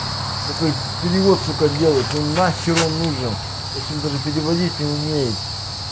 который перевод сука делает он нахер он нужен если он даже переводить не умеет